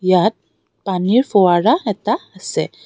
ইয়াত পানীৰ ফুঁৱৰা এটা আছে.